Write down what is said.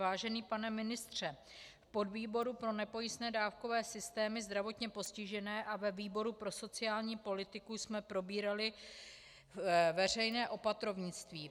Vážený pane ministře, v podvýboru pro nepojistné dávkové systémy zdravotně postiženým a ve výboru pro sociální politiku jsme probírali veřejné opatrovnictví.